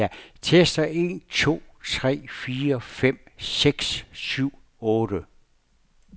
Tester en to tre fire fem seks syv otte.